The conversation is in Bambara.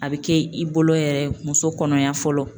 A bɛ kɛ i bolo yɛrɛ ye muso kɔnɔya fɔlɔ